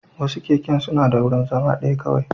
Wasu keken suna da wurin zama ɗaya kawai